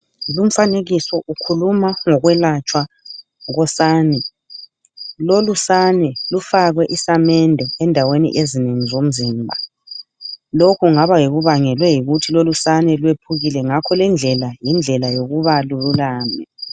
Lumfanekiso ukhuluma ngokwelatshwa kosani lolu sane lufakwe isamende endaweni ezinengi zomzimba lokhu kungaba kubangelwe yikuthi lolusane lwephukile ngakho lendlela yindlela yokuba lululame.